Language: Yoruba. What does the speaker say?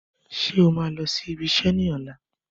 Ṣé ó máa lọ sí ibi iṣẹ́ ní ọ̀la?